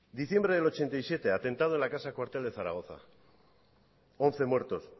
diciembre de mil novecientos ochenta y siete atentado en la casa cuartel de zaragoza once muertos